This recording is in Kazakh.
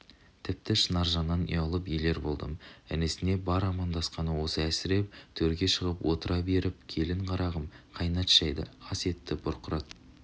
тіпті шынаржаннан ұялып елер болдым інісіне бар амандасқаны осы әсіреп төрге шығып отыра беріпкелін қарағым қайнат шайды ас етті бұрқырат